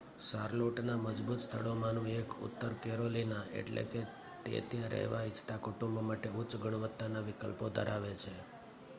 શાર્લોટના મજબૂત સ્થળોમાંનું એક ઉત્તર કેરોલિના એટલે કે તે ત્યાં રહેવા ઇચ્છતા કુટુંબો માટે ઉચ્ચ ગુણવત્તાના વિકલ્પો ધરાવે છે